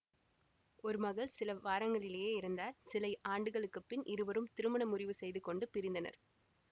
ஒரு மகள் சில வாரங்களிலேயே இறந்தார் சில ஆண்டுகளுக்கு பின் இருவரும் திருமண முறிவு செய்து கொண்டு பிரிந்தனர்